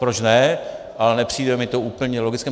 Proč ne, ale nepřijde mi to úplně logické.